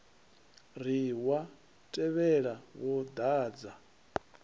ri wa tevhula wo dadza